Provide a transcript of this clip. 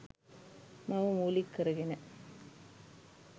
මව මූලික කර ගෙන